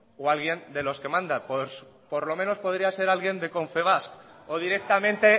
o alguien de los que manda por lo menos podría ser alguien de confebask o directamente